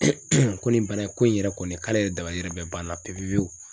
ko nin bana ko in yɛrɛ kɔni k'ale yɛrɛ dabali yɛrɛ banna pewu pewu